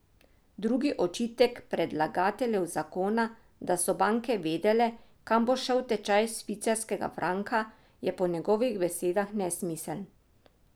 Drugi očitek predlagateljev zakona, da so banke vedele, kam bo šel tečaj švicarskega franka, je po njegovih besedah nesmiseln.